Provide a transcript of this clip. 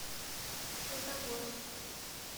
светогорск